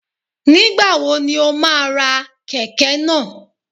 Nígbàwo ni o má a ra Kẹ̀kẹ́ náà?